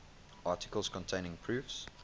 articles containing proofs